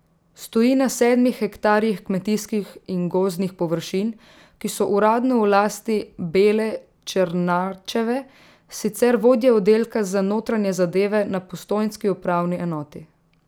Stoji na sedmih hektarjih kmetijskih in gozdnih površin, ki so uradno v lasti Bele Černačeve, sicer vodje oddelka za notranje zadeve na postojnski upravni enoti.